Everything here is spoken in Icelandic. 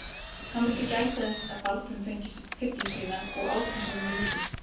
Hann vildi gæta þess að Baldvin fengi fylli sína og át þess vegna lítið.